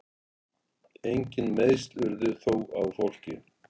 Engin meiðsl urðu þó á fólki